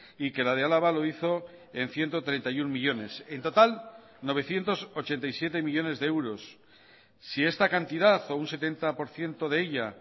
y que la de álava lo hizo en ciento treinta y uno millónes en total novecientos ochenta y siete millónes de euros si esta cantidad o un setenta por ciento de ella